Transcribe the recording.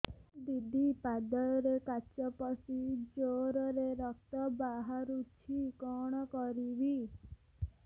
ଦିଦି ପାଦରେ କାଚ ପଶି ଜୋରରେ ରକ୍ତ ବାହାରୁଛି କଣ କରିଵି